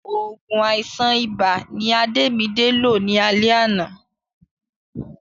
Òògùn àìsàn ibà ni Adémidé lò ní alé àná